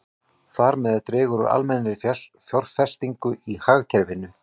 Þar með dregur úr almennri fjárfestingu í hagkerfinu.